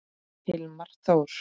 Hilmar Þór.